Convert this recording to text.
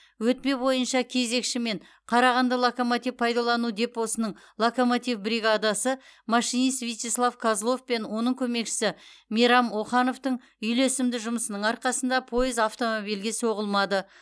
өтпе бойынша кезекші мен қарағанды локомотив пайдалану депосының локомотив бригадасы машинист вячеслав козлов пен оның көмекшісі мейрам охановтың үйлесімді жұмысының арқасында пойыз автомобильге соғылмады